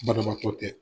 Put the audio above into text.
Banabaatɔ tɛ